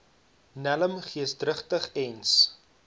nelm geesdrigtig eens